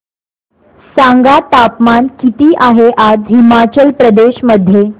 सांगा तापमान किती आहे आज हिमाचल प्रदेश मध्ये